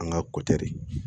An ka ko tɛ de